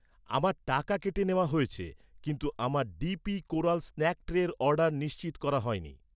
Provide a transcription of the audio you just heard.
আমার টাকা কেটে নেওয়া হয়েছে, কিন্তু আমার, ডিপি কোরাল স্ন্যাক ট্রের অর্ডার নিশ্চিত করা হয়নি